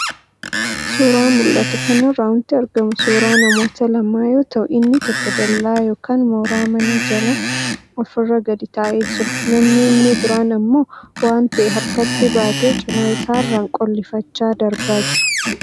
Suuraa mul'atu kanarraa wanti argamu suuraa namoota lamaa yoo ta'u, inni tokko dallaa yookaan mooraa manaa jala ofirra gadi taa'ee jira, namni inni biraan ammoo waan ta'e harkatti baatee cinaa isaarraan qollifachaa darbaa jira.